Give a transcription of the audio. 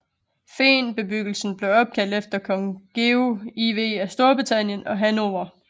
Fehnbebyggelsen blev opkaldt efter Kong Georg IV af Storbritannien og Hannover